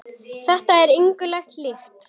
Þetta er engu lagi líkt.